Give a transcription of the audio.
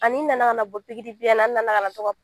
Ani nana ka na bɔ n nana ka na to ka bɔ